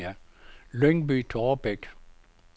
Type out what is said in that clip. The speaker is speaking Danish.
Lyngby-Taarbæk